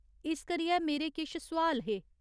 इस करियै मेरे किश सोआल हे।